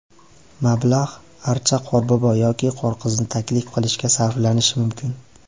Mablag‘ archa, qorbobo yoki qorqizni taklif qilishga sarflanishi mumkin.